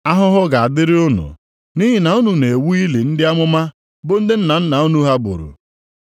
“Ahụhụ ga-adịrị unu nʼihi na unu na-ewu ili ndị amụma bụ ndị nna nna unu ha gburu.